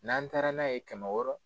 N'an taara n'a ye kɛmɛ wɔɔrɔ